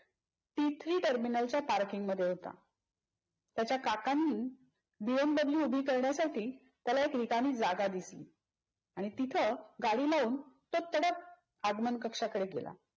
T three टर्मिनलच्या पार्किंगमध्ये होता. त्याच्या काकांनी बी एम दाबलूए उभी करण्यासाठी त्याला एक रिकामी जागा दिसली. आणि तिथ गाडी लाऊन तो तडक आगमन कक्षाकडे गेला.